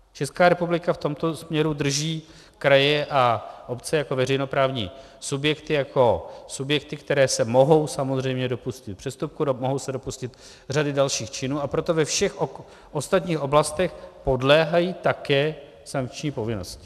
Česká republika v tomto směru drží kraje a obce jako veřejnoprávní subjekty, jako subjekty, které se mohou samozřejmě dopustit přestupku, mohou se dopustit řady dalších činů, a proto ve všech ostatních oblastech podléhají také sankční povinnosti.